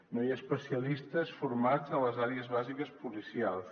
no hi ha especialistes formats a les àrees bàsiques policials